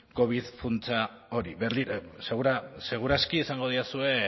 covid funtsa hori seguraski izango didazue